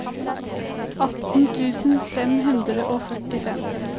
atten tusen fem hundre og førtifem